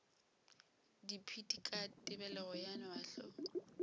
dipit ka tebelego ya mahlo